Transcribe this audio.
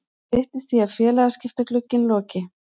Það styttist í að félagaskiptaglugginn loki.